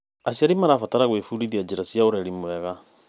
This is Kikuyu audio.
Aciari marabatara gwĩbundithia njĩra cia ũreri mwega.